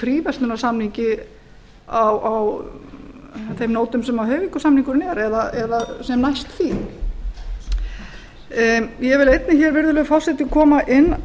fríverslunarsamningi á þeim nótum sem hoyvíkursamningurinn er eða sem næst því ég vil einnig hér virðulegi forseti koma inn